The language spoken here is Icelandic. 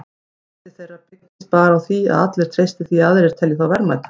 Verðmæti þeirra byggist bara á því að allir treysti því að aðrir telji þá verðmæta.